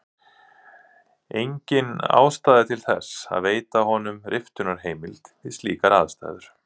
Engin ástæða er til þess að veita honum riftunarheimild við slíkar aðstæður.